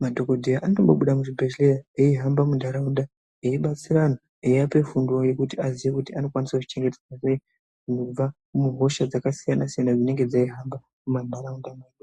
madhokoteya anotombobuda muzvibhedhleya aihamba mundaraunda ,aibatsira antu ,aiape fundo yavo yekuti azive kuti anokwanisa kuzvichengetedza kubva muhosha dzakasiyana siyana dzinenge dzeihamba mumandaraunda.